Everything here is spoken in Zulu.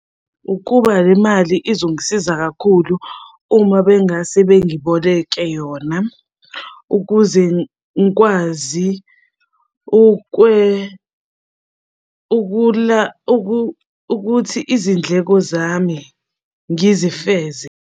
Ukuba le mali izongisiza kakhulu uma bengase bengiboleke yona ukuze ngikwazi ukuthi izindleko zami ngizifeze.